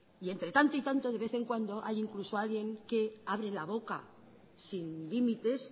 y entre tanto y tanto de vez en cuando hay incluso alguien que abre la boca sin límites